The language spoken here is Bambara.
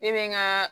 Ne bɛ n ka